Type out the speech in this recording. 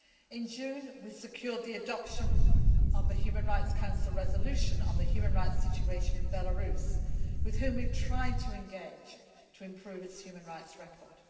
In June, we secured the adoption of a Human Rights Council resolution on the human rights situation in Belarus, with whom we have tried to engage to improve its human rights record.